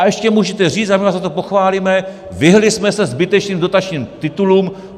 A ještě můžete říct, a my vás za to pochválíme, vyhnuli jsme se zbytečným dotačním titulům.